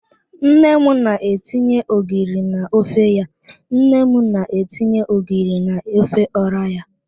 Nne m na-etinye ogiri na ofe ya. Nne m na-etinye ogiri na ofe ora ya.